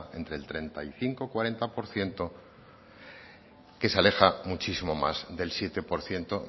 del treinta y cinco cuarenta por ciento que se aleja muchísimo más del siete por ciento